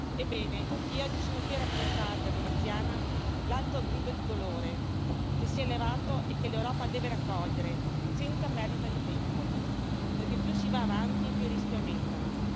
Ebbene, io oggi sono qui a rappresentare, da veneziana, l'alto grido di dolore che si è levato e che l'Europa deve raccogliere, senza perdita di tempo perché più si va avanti e più i rischi aumentano.